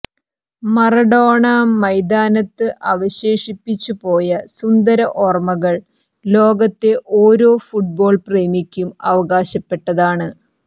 Maradona മൈതാനത്ത്് അവശേഷിപ്പിച്ചു പോയ സുന്ദര ഓർമകൾ ലോകത്തെ ഓരോ ഫുട്ബോൾ പ്രേമിക്കും അവകാശപ്പെട്ടതാണ്